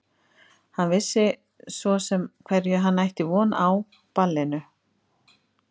Hann vissi svo sem á hverju hann ætti von á ballinu.